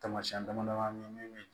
Tamasiyɛn dama dama bɛ min